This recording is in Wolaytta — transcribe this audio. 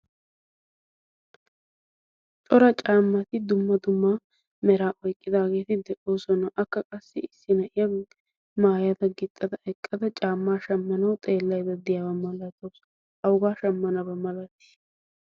cora caammati dumma dumma mera oyqqidaageedi de'oosona akka qassi issi na'iya maayada gixxada eqqada caammaa shammanawu xeellayda diyaabaa malataasu awugaa shammanabaa malatiis